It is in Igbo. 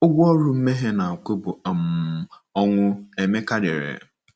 "Ụgwọ ọrụ mmehie na-akwụ bụ um ọnwụ," Emeka dere.